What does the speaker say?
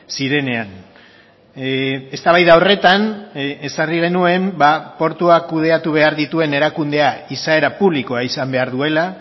zirenean eztabaida horretan ezarri genuen portuak kudeatu behar dituen erakundea izaera publikoa izan behar duela